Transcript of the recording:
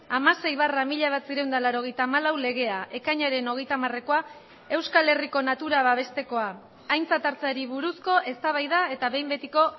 hamasei barra mila bederatziehun eta laurogeita hamalau legea ekainaren hogeita hamarekoa euskal herriko natura babestekoa aintzat hartzeari buruzko eztabaida eta behin betiko